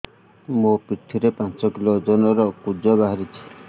ମୋ ପିଠି ରେ ପାଞ୍ଚ କିଲୋ ଓଜନ ର କୁଜ ବାହାରିଛି